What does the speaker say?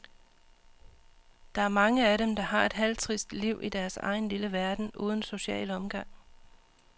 Der er mange af dem, der har et halvtrist liv i deres egen lille verden uden social omgang.